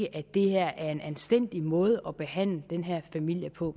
at det her er en anstændig måde at behandle den her familie på